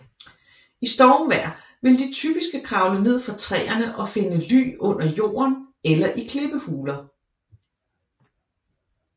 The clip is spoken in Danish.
I stormvejr vil de typiske kravle ned fra træerne og finde ly under jorden eller i klippehuler